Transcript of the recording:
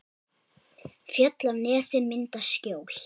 Fjöll og nesið mynda skjól.